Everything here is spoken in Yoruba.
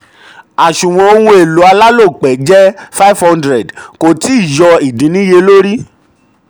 two àsunwon ohun èlò alálòpẹ́ jẹ́ 500 kò tíì yọ ìdínniyẹlórí.